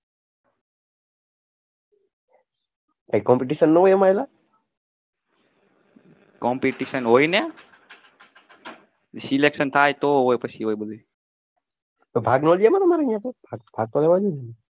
કઈ competition ના હોય